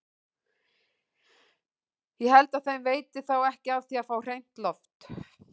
Ég held að þeim veiti þá ekki af því að fá hreint loft!